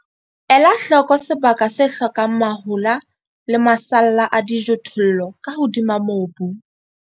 Ela hloko sebaka se hlokang mahola le masalla a dijothollo ka hodima mobu.